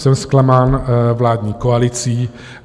Jsem zklamán vládní koalicí.